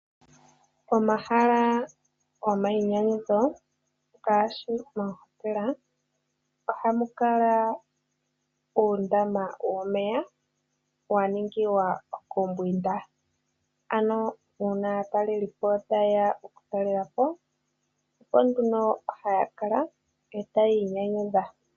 Omahala gomainyanyudho ngaashi oohotela ohamu kala uundama womeya wa ningilwa okumbwinda. Ano uuna aatalelipo ta yeya okutalela po oko nduno haya kala eta ya inyanyudha.